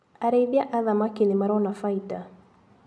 Arĩithia a thamaki nĩmarona bainda.